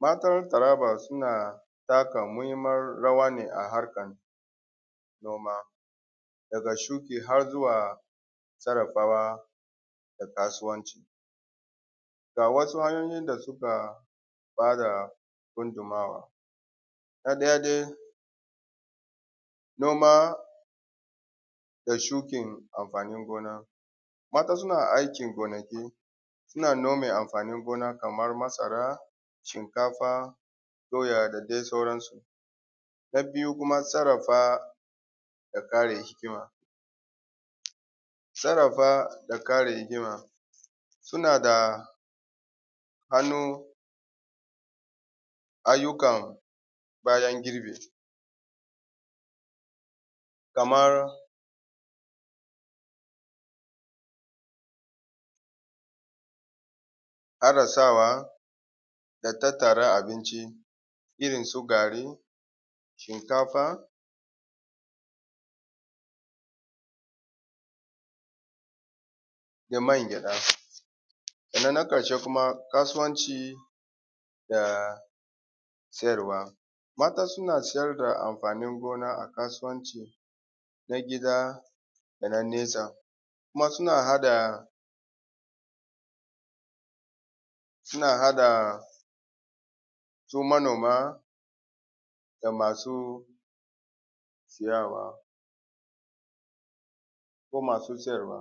Matan Taraba suna taka muhinman rawa ne a harkan noma daga shuki har zuwa sarafa wa da kasuwanci, ga wasu hanyoyin da suka ba da gudunmuwana ɗaya dai noma da shukin amfanin gona, mata suna aikin gonaki suna nome amfanin gona kaman masara, shinkafa, doya da dai sauransu. Na biyu kuma sarrafa da kare hikima sarrafa da kare hikima suna da hannu ayyukan bayan girbi, kamar adasawa da tattara abinci irin su gari, shinkafa da mangyaɗa, sannan na ƙarshe kuma kasuwanci da siyarwa. Mata suna siyar da amfanin gona da kasuwanci na gida da na nesa kuma suna haɗa suna haɗa su manoma da masu siyawa ko masu siyarwa.